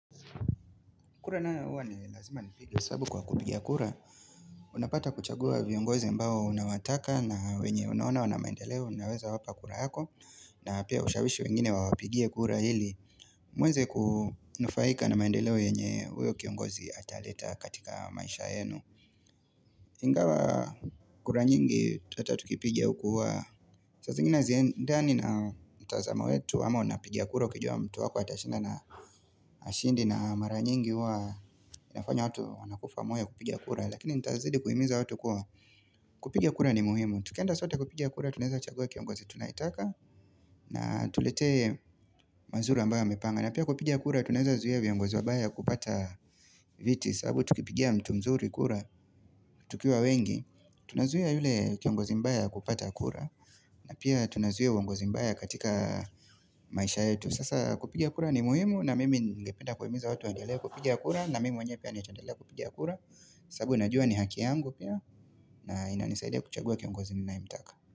Kura nayo huwa ni lazima nipige sababu kwa kupiga kura. Unapata kuchagua viongozi ambao unawataka na wenye unaona wana maendeleo unaweza wapa kura yako. Nawapea ushawishi wengine wawapigie kura hili. Mweze kunufaika na maendeleo yenye uyo kiongozi ataleta katika maisha yenu. Ingawa kura nyingi ata tukipiga hukuwa. Saa zingine haziendani na utazama wetu ama unapigia kura ukijua mtu wako atashinda na hashindi na mara nyingi huwa inafanya watu wanakufa moyo kupiga kura lakini nitazidi kuhimiza watu kuwa kupiga kura ni muhimu tukienda sote kupigia kura tunaeza chagua kiongozi tunayetaka na atuletee mazuri ambayo amepanga na pia kupiga kura tuneza zuia viongozi wabaya kupata viti sababu tukipigia mtu mzuri kura tukiwa wengi tunazuia yule kiongozi mbaya kupata kura na pia tunazuia uongozi mbaya katika maisha yetu sasa kupiga kura ni muhimu na mimi ningependa kuhimiza watu wandelee kupiga kura na mimi mwenyewe pia nitaendelea kupiga kura sababu najua ni haki yangu pia na inanisaida kuchagua kiongozi ninayemtaka.